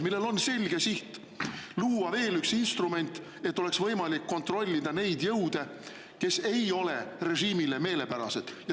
… millel on selge siht: luua veel üks instrument, et oleks võimalik kontrollida neid jõude, kes ei ole režiimile meelepärased.